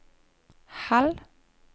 halv